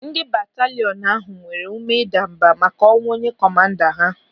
Ndị bataliọnu ahụ nwere ụme ịdambà màkà ọnwụ onye kọmanda ha.